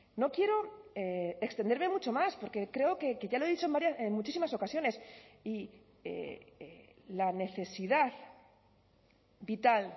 no quiero extenderme mucho más porque creo que ya lo he dicho en muchísimas ocasiones y la necesidad vital